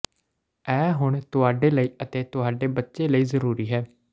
ਇਹ ਹੁਣ ਤੁਹਾਡੇ ਲਈ ਅਤੇ ਤੁਹਾਡੇ ਬੱਚੇ ਲਈ ਜ਼ਰੂਰੀ ਹੈ